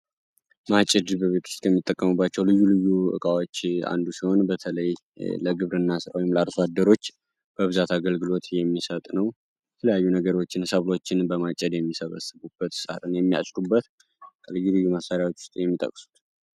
ማጨድ በቤት ውስጥ ከምንጠቀምባቸው ልዩ ልዩ እቃዎች አንዱ ሲሆን በተለይ ለግብርና ስራ ወይም ለአርሶአደሮች በብዛት አገልግሎት የሚሰጥ ነው። የተለያዩ ነገሮችን ሰብሎችን በማጨድ የሚሰበሰቡበት ሳርን የሚያጭዱበት ከልዩ ልዩ መሳሪያዎች ውስጥ የሚጠቅሱት ነው።